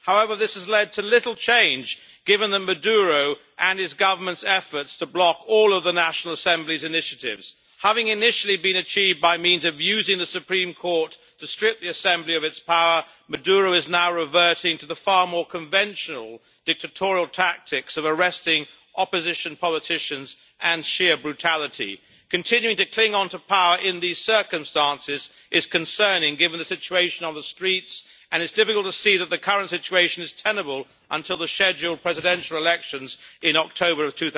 However, this has led to little change, given Maduro's and his government's efforts to block all of the National Assembly's initiatives. Having initially been achieved by means of using the Supreme Court to strip the assembly of its power, Maduro is now reverting to the far more conventional dictatorial tactics of arresting opposition politicians and sheer brutality. Continuing to cling on to power in these circumstances is concerning, given the situation on the streets, and it is difficult to see that the current situation is tenable until the scheduled Presidential elections in October of